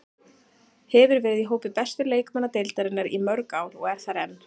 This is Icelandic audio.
Hefur verið í hópi bestu leikmanna deildarinnar í mörg ár og er þar enn.